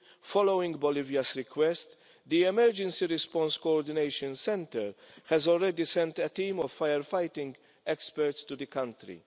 Following Bolivia's request, the Emergency Response Coordination Centre has already sent a team of fire fighting experts to the country.